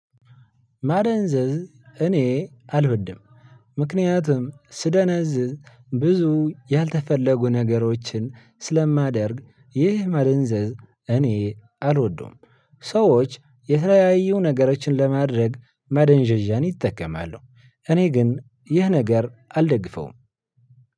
ማደንዘዝ እኔ አልበድም። ምክንያቱም ስደነዝዝ ብዙ ያልተፈለጉ ነገሮችን ስለማደርግ ይህ መደንዘዝ እኔ አልወደውም። ሰዎች የተለያዩ ነገሮችን ለማድረግ ማደንዣዣን ይጠቀማሉ። እኔ ግን ይህ ነገር አልደግፈውም።